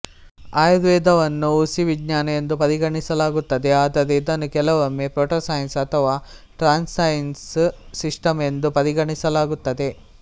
ಆಯುರ್ವೇದವನ್ನು ಹುಸಿ ವಿಜ್ಞಾನ ಎಂದು ಪರಿಗಣಿಸಲಾಗುತ್ತದೆ ಆದರೆ ಇದನ್ನು ಕೆಲವೊಮ್ಮೆ ಪ್ರೋಟೋಸೈನ್ಸ್ ಅಥವಾ ಟ್ರಾನ್ಸ್ಸೈನ್ಸ್ ಸಿಸ್ಟಮ್ ಎಂದು ಪರಿಗಣಿಸಲಾಗುತ್ತದೆ